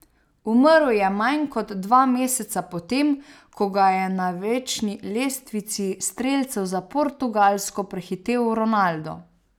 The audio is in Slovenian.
Umrl je manj kot dva meseca po tem, ko ga je na večni lestvici strelcev za Portugalsko prehitel Ronaldo.